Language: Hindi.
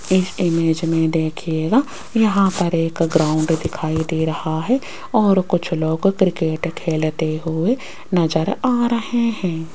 इस इमेज में देखिएगा यहां पर एक ग्राउंड दिखाई दे रहा है और कुछ लोग क्रिकेट खेलते हुए नजर आ रहे हैं।